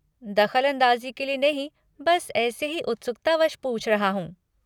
दख़लअंदाज़ी के लिए नहीं बस ऐसे ही उत्सुकतावश पूछ रहा हूँ।